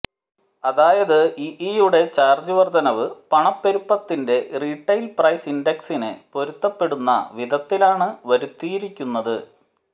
അതായത് ഇഇയുടെ ചാര്ജ് വര്ധനവ് പണപ്പെരുപ്പത്തിന്റെ റീട്ടെയില് പ്രൈസ് ഇന്ഡെക്സിന് പൊരുത്തപ്പെടുന്ന വിധത്തിലാണ് വരുത്തിയിരിക്കുന്നത്